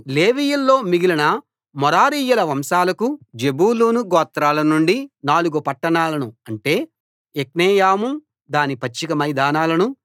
లేవీయుల్లో మిగిలిన మెరారీయుల వంశాలకు జెబూలూను గోత్రాల నుండి నాలుగు పట్టణాలను అంటే యొక్నెయాము దాని పచ్చిక మైదానాలనూ